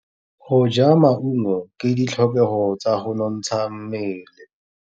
Go ja maungo ke ditlhokegô tsa go nontsha mmele.